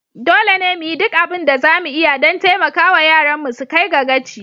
Dole ne mu yi duk abin da za mu iya don taimaka wa yaranmu su kai ga gaci.